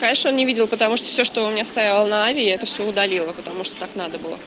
раньше он не видел потому что все что он мне стоял на аве это все удалила потому что так надо было